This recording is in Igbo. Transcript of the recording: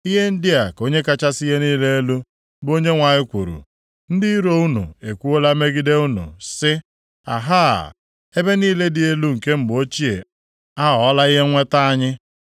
Ihe ndị a ka Onye kachasị ihe niile elu, bụ Onyenwe anyị kwuru: Ndị iro unu ekwuola megide unu sị, “Ahaa! Ebe niile dị elu nke mgbe ochie aghọọla ihe nnweta anyị.” ’